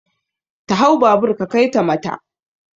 Ta hau babur ka kaita mata!